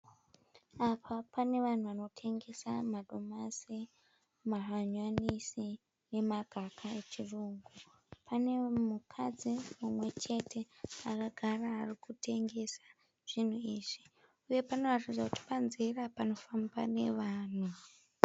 Apa pane vanhu vanotengesa madomasi, mahanyanisi nemagaka echirungu. Pane mukadzi mumwe chete akagara ari kutengesa zvinhu izvi uye panoratidza kuti panzira panofamba nevanhu.